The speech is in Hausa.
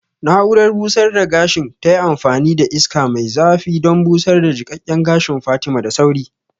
Na'urar busar da gashin tayi amfani da iska mai zafi don busar da jiƙaƙƙen gashin Fatima da sauri